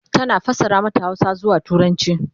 tana fassara mata Hausa zuwa turanci